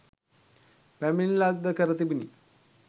පැමිණිල්ලක්‌ද කර තිබිණි.